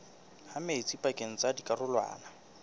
ha metsi pakeng tsa dikarolwana